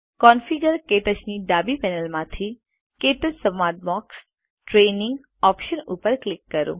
configure - ક્ટચ ની ડાબી પેનલ માંથી ક્ટચ સંવાદ બોક્સ ટ્રેનિંગ ઓપ્શન્સ ઉપર ક્લિક કરો